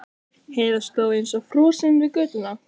Heiða stóð eins og frosin við götuna.